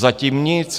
Zatím nic!